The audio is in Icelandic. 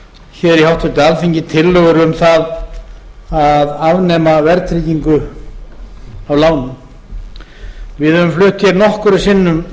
hér í háttvirtu alþingi tillögur um það að afnema verðtryggingu á lánum við höfum flutt hér nokkrum sinnum